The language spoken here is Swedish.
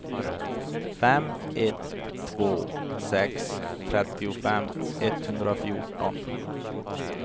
fem ett två sex trettiofem etthundrafjorton